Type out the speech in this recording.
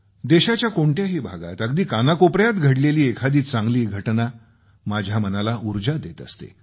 देशाच्या कोणत्याही भागात अगदी कानाकोपऱ्यात घडलेली एखादी चांगली घटना माझ्या मनाला ऊर्जा देत असते